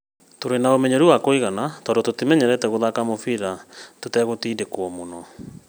Tũtirĩ na ũmenyeru wa kũigana tondũ tũmenyerete gũthaka mũbira tũtagũtindĩkwo mũno